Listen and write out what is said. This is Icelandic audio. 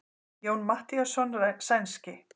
Jón Matthíasson sænski.